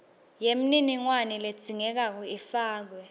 yemininingwane ledzingekako ifakiwe